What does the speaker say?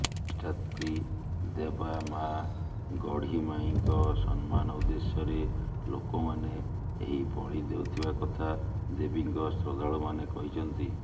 ଅଧିଷ୍ଠାତ୍ରୀ ଦେବା ମା ଗଢିମାଇଁଙ୍କ ସମ୍ମାନ ଉଦ୍ଦେଶ୍ୟରେ ଲୋକମାନେ ଏହି ବଳି ଦେଉଥିବା କଥା ଦେବୀଙ୍କ ଶ୍ରଦ୍ଧାଳୁମାନେ କହିଛନ୍ତି